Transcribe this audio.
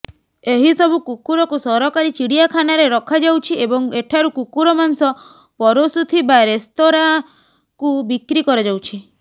ଏହି ସବୁ କୁକୁରକୁ ସରକାରୀ ଚିଡିଆଖାନାରେ ରଖାଯାଉଛି ଏବଂ ଏଠାରୁ କୁକୁର ମାଂସ ପରଷୁଥିବା ରେସ୍ତୋରାଁକୁ ବିକ୍ରି କରାଯାଉଛି